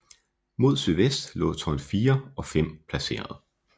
Mod sydvest lå tårn 4 og 5 placeret